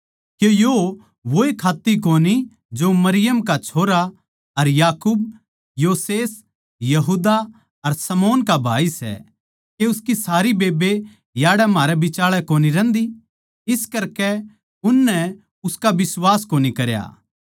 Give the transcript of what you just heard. के यो वोए खात्त्ती कोनी जो मरियम का छोरा अर याकूब योसेस यहूदा अर शमौन का भाई सै के उसकी सारी बेब्बे याड़ै म्हारै बिचाळै कोनी रह्न्दी इस करकै उननै उसका बिश्वास कोनी करा